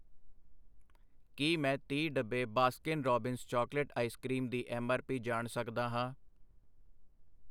ਕੀ ਮੈਂ ਤੀਹ ਡੱਬੇ Baskin Robbins chocolate ice cream ਦੀ ਐਮ ਆਰ ਪੀ ਜਾਣ ਸਕਦਾ ਹਾਂ?